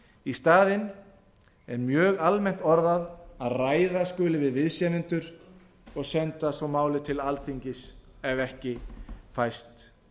í staðinn er mjög almennt orðað að ræða skuli við viðsemjendur og senda svo málið til alþingis ef ekki fæst